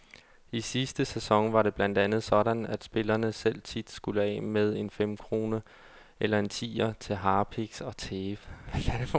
I sidste sæson var det blandt andet sådan, at spillerne selv tit skulle af med en femkrone eller en tier til harpiks og tape.